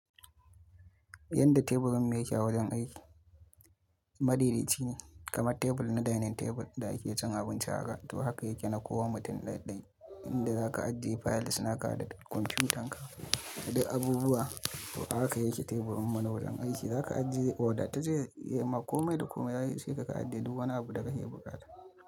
Yanda teburin mu yake a wajen aiki? Madaidai cine kamar tebur na dining table da ake cin abinci haka, to haka yake na kowa mutum ɗaya ɗaya. Inda za ka ajiye files naka da kwamfiyutan ka da duk abubuwa, to haka yake teburin mu nawajen aiki. Za ka ajiye wodatat ce yama komai da komai, ya isheka ka ajiye duk wani abu da ka ke buƙata.